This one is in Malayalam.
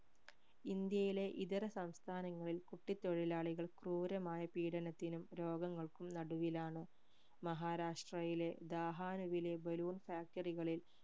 ഇന്ത്യയിലെ ഇതര സംസ്ഥാനങ്ങളിൽ കുട്ടിത്തൊഴിലാളികൾ ക്രൂരമായ പീഡനത്തിനും രോഗങ്ങൾക്കും നടുവിലാണ് മഹാരാഷ്ട്രയിലെ ദാഹാനുവിലെ balloon factory കളിൽ